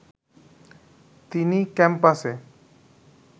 তিনি ক্যাম্পাসে